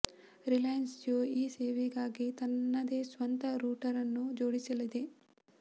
Reliance Jio ಈ ಸೇವೆಗಾಗಿ ತನ್ನದೇ ಸ್ವಂತ ರೂಟರ್ ನ್ನು ಜೋಡಿಸಲಿದೆ